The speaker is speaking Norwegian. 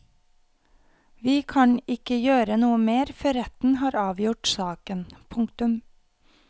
Vi kan ikke gjøre noe mer før retten har avgjort saken. punktum